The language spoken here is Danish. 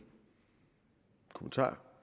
kommentar